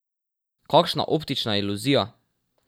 Kakšna optična iluzija!